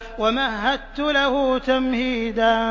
وَمَهَّدتُّ لَهُ تَمْهِيدًا